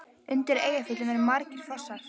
Undir Eyjafjöllum eru margir fossar.